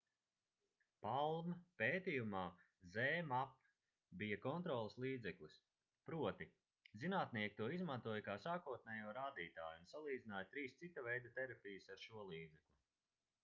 palm pētījumā zmapp bija kontroles līdzeklis proti zinātnieki to izmantoja kā sākotnējo rādītāju un salīdzināja trīs cita veida terapijas ar šo līdzekli